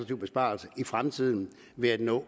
besparelse i fremtiden ved at nå